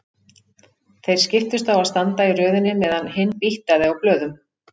Þeir skiptust á að standa í röðinni meðan hinn býttaði á blöðum.